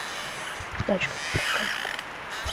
тачка на прокачку